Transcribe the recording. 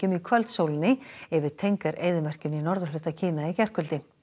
í kvöldsólinni yfir eyðimörkinni í norðurhluta Kína í gærkvöldi